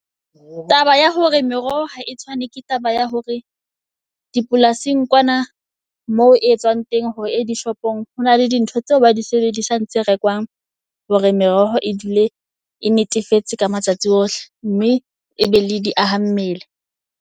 Taba ya hore meroho ha e tshwane, ke taba ya hore di polasing kwana moo e etswang teng hore e dishop-ong hona le di ntho tseo ba di sebedisang. Tse rekwang hore meroho e dule e netefetse ka matsatsi ohle mme e be le diaha mmele.